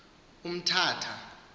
umtata